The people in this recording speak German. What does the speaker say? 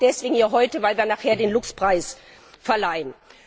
Das sage ich deshalb hier heute, weil wir nachher den LUX Preis verleihen.